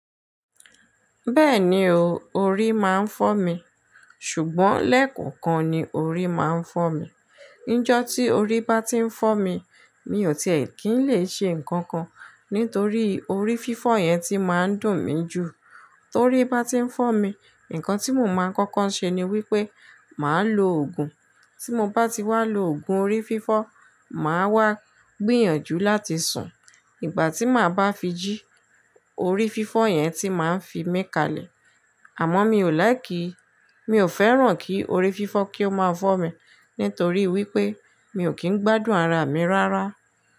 Bẹ́ẹ̀ni o, orí máa ń fọ́ mi. Ṣùgbọ́n lẹ́kùnkún ni orí máa ń fọ́ mi. Níjọ́ tí orí bá ti ń fọ́ mi, mi ò tíì kín lè ṣe nǹkan kan, nítorí orí fífọ́ yẹn ti máa ń dùn mí ju. Torí bá ti ń fọ́ mi, nǹkan tí mo máa ń kọ́kọ́ ṣe ni wípé màá lo òògùn. Tí mo bá ti wá lo òògùn orí fífọ́, màá wá gbìyànjú láti sùn. Ìgbà tí màá bá fi jí, orí fífọ́ yẹn tí máa ń fi mí kalẹ̀. Àmọ́ mi ò láì kí, mi ò fẹ́ràn kí orí fífọ́ kí ó máa fọ́ mi, nítorí wípé mi ò kín gbádùn ara mi rárá.